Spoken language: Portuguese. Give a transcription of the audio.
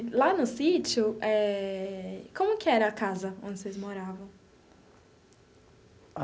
E lá no sítio eh, como que era a casa onde vocês moravam?